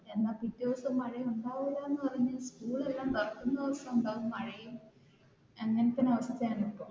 എന്നാൽ പിറ്റേ ദിവസം മഴ ഉണ്ടാവില്ല എന്ന് പറഞ്ഞു school എല്ലാം തുറക്കുന്ന സമയത്തു ഉണ്ടാവും മഴയും അങ്ങനത്തെ ഒരു അവസ്ഥയാണ്